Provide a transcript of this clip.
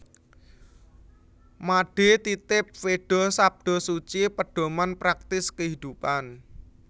Made Titib Veda Sabda Suci Pedoman Praktis Kehidupan